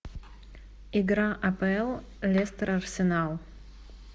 игра апл лестер арсенал